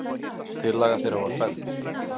Tillaga þeirra var felld.